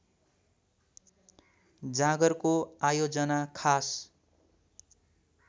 जागरको आयोजना खास